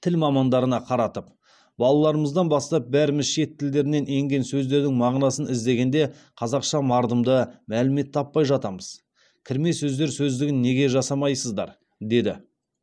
тіл мамандарына қаратып балаларымыздан бастап бәріміз шет тілдерінен енген сөздердің мағынасын іздегенде қазақша мардымды мәлімет таппай жатамыз кірме сөздер сөздігін неге жасамайсыздар деді